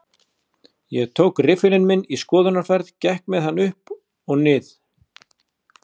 Ég tók riffilinn minn í skoðunarferð, gekk með hann upp og nið